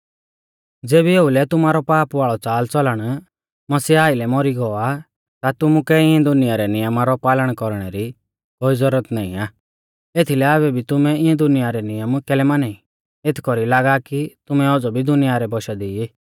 ज़ेबी ओउलै तुमारौ पाप वाल़ौ च़ालच़लण मसीहा आइलै मौरी गौ आ ता तुमुकै इऐं दुनिया रै नियमा रौ पालन कौरणै री कोई ज़ुरत नाईं आ एथीलै आबै भी तुमै इऐं दुनिया रै नियम कैलै माना ई एथ कौरी लागा कि तुमै औज़ौ भी दुनिया रै बौशा दी ई